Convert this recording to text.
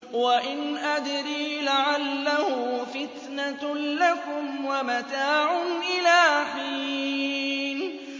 وَإِنْ أَدْرِي لَعَلَّهُ فِتْنَةٌ لَّكُمْ وَمَتَاعٌ إِلَىٰ حِينٍ